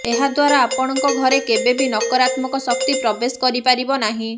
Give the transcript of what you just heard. ଏହାଦ୍ୱାରା ଆପଣଙ୍କ ଘରେ କେବେ ବି ନକରାତ୍ମକ ଶକ୍ତି ପ୍ରବେଶ କରିପାରିବ ନାହିଁ